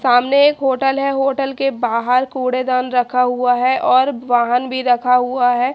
सामने एक होटल हैं होटल के बाहर कूड़े दान रखा हुआ हैं और वाहन भी रखा हुआ हैं।